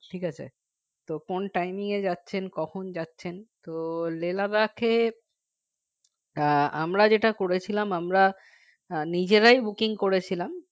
ঠিক আছে তো কোন time এ যাচ্ছেন কখন যাচ্ছেন তো Lehladakh এ আমরা যেটা করেছিলাম আমরা আহ নিজেরাই booking করেছিলাম